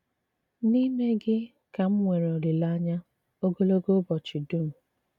N'ime gị kà m nwere olìlèanyà ògòlògò ùbọ̀chị d̀ùm.